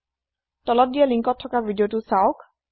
তলত দিয়া লিঙ্কত থকা ভিদিঅ চাওক